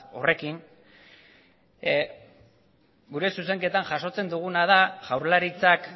horrekin gure zuzenketan jasotzen duguna da jaurlaritzak